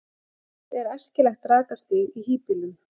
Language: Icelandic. Hvert er æskilegt rakastig í hýbýlum?